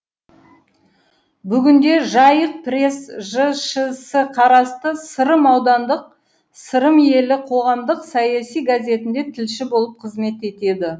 бүгінде жайық пресс жшс қарасты сырым аудандық сырым елі қоғамдық саяси газетінде тілші болып қызмет етеді